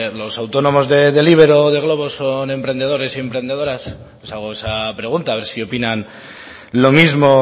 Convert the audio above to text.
los autónomos de deliverro de glovo son emprendedores y emprendedoras os hago esa pregunta a ver si opinan lo mismo